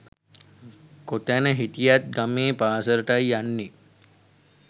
කොතැන හිටියත් ගමේ පාසලටයි යන්නේ